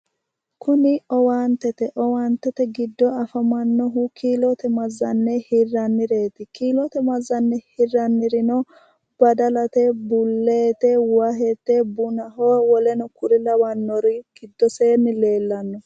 Kunni owaantete awaantete gido afamanohu kiillote mazanne hirannireeti kiillote mazanne hirannirino badallate, buleete, wahete, bunnahonna woleno kuri lawanori gidoseenni leellano.